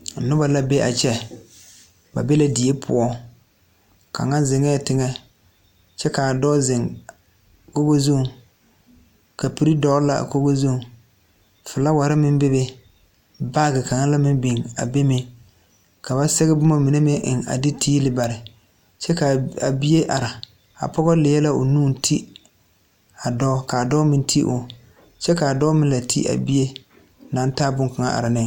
Nobɔ la be a kyɛ ba be la die poɔ kaŋa zeŋɛɛ teŋɛ kyɛ kaa dɔɔ zeŋ kogi zuŋ kapurre dɔgle la a kogi zuŋ flaawarre meŋ bebe baagi kaŋa la meŋ biŋ a be meŋ ka ba sɛge bomma mine meŋ eŋ a de tiili bare kyɛ kaa a bie are a pɔgɔ lie o nu Deva dɔɔ kaa dɔɔ meŋ te o kyɛ kaa dɔɔ meŋ la te a bie naŋ taa bonkaŋa are ne.